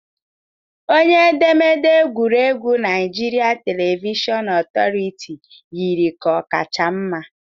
Onye edemede egwuregwu Naijiria Televishọn Otoritiiụ yiri ka ọ kacha mma